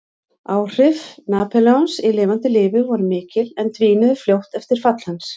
Áhrif Napóleons í lifanda lífi voru mikil en dvínuðu fljótt eftir fall hans.